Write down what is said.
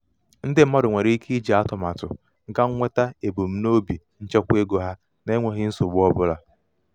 ndị mmadụ nwere ike iji atụmatụ ga nweta ebumnobi nchekwaego ha na-enweghi nsogbu ọbụla.